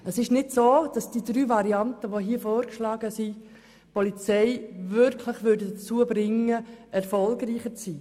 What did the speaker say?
Die hier vorgeschlagenen drei Varianten würden die Polizei nicht wirklich dazu bringen, erfolgreicher zu sein.